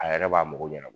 A yɛrɛ b'a mago ɲa